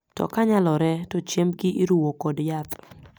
To kanyalore to chiembgi iruwo kod yath.